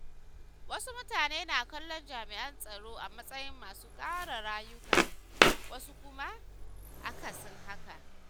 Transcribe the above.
Wasu mutane na kallon jami’an tsaro a matsayin masu kare rayuka, wasu kuma akasin haka.